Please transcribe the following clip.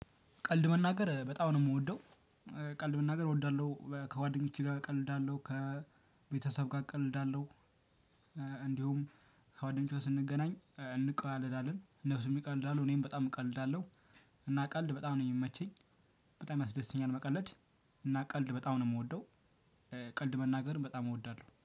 ቀልድ መናገር በጣም ነው የምወደው። ቀልድ መናገር እወዳለሁ ከጓደኞቼ ጋር እቀልዳለሁ ከቤተሰብ ጋር እቀልዳለሁ። እንዲሁም ከጓደኞቼ ጋር ስንገናኝ እንቀላለዳለን እነሱም ይቀልዳሉ እኔም በጣም እቀልዳለሁ። እና ቀልድ በጣም ነው የሚመቸኝ። በጣም ያስደስተኛል መቀለድ። እና ቀልድ በጣም ነው የምወደው። ቀልድ መናገር በጣም እወዳለሁ